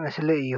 ምስሊ እዩ።